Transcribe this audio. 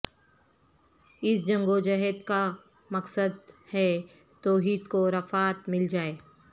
اس جنگ و جہاد کا مقصد ہے توحید کو رفعت مل جائے